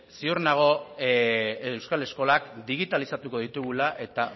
ziur nago euskal eskolak digitalizatuko ditugula eta